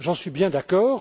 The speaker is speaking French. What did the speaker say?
J'en suis bien d'accord.